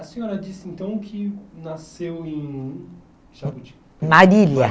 A senhora disse então que nasceu em... Marília.